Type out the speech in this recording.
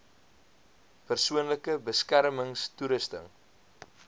persoonlike beskermings toerusting